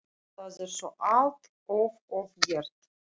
Það er þó allt of oft gert.